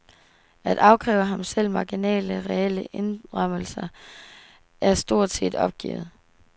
At afkræve ham selv marginale, reelle indrømmelser, er stort set opgivet.